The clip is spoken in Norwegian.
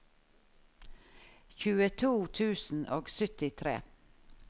tjueto tusen og syttitre